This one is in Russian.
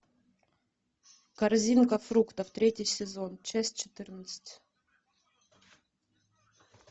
корзинка фруктов третий сезон часть четырнадцать